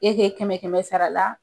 kɛmɛ kɛmɛ sara la.